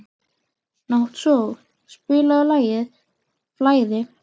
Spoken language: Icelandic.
Náttsól, spilaðu lagið „Flæði“.